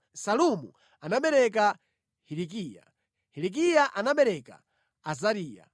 Salumu anabereka Hilikiya, Hilikiya anabereka Azariya,